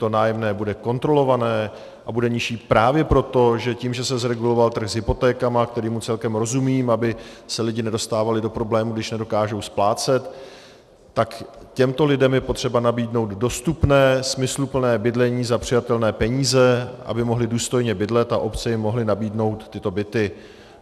To nájemné bude kontrolované a bude nižší právě proto, že tím, že se zreguloval trh s hypotékami, kterému celkem rozumím, aby se lidi nedostávali do problémů, když nedokážou splácet, tak těmto lidem je třeba nabídnout dostupné smysluplné bydlení za přijatelné peníze, aby mohli důstojně bydlet a obce jim mohly nabídnout tyto byty.